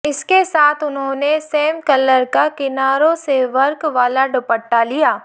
इसके साथ उन्होंने सेम कलर का किनारों से वर्क वाला दुपट्टा लिया